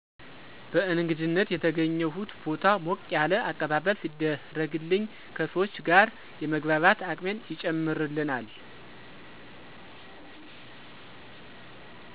በእንግድነት የተገኘሁት ቦታ ሞቅ ያለ አቀባበል ሲደረግልኝ ከሰዎች ጋር የመግባባት አቅሜን ይጨምርልናል።